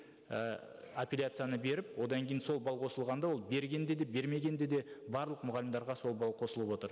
і апелляцияны беріп одан кейін сол балл қосылғанда ол берген де де бермеген де де барлық мұғалімдерге сол балл қосылып отыр